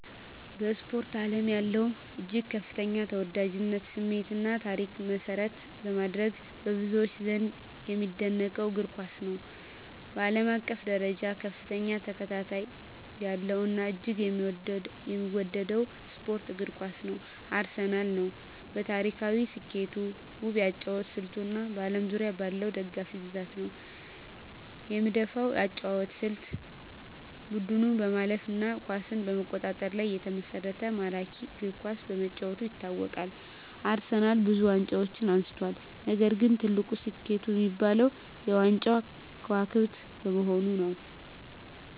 በስፖርት አለም ያለውን እጅግ ከፍተኛ ተወዳጅነት፣ ስሜት እና ታሪክ መሰረት በማድረግ፣ በብዙዎች ዘንድ የሚደነቀውን እግር ኳስን ነው። በአለም አቀፍ ደረጃ ከፍተኛ ተከታታይ ያለው እና እጅግ የሚወደደው ስፖርት እግር ኳስ ነው። አርሴናል ነው። በታሪካዊ ስኬቱ፣ ውብ የአጨዋወት ስልቱ እና በአለም ዙሪያ ባለው ደጋፊ ብዛት ነው። የምደፈው የአጨዋወት ስልት : ቡድኑ በማለፍ እና ኳስን በመቆጣጠር ላይ የተመሰረተ ማራኪ እግር ኳስ በመጫወቱ ይታወቃል። አርሴናልብዙ ዋንጫዎችን አንስቷል፣ ነገር ግን ትልቁ ስኬቱ የሚባለው -የ ዋንጫዎች ክዋክብት በመሆኑ ነዉ።